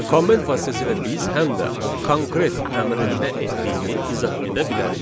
Comment vasitəsilə biz həm də konkret əmrin nə etdiyini izah edə bilərik.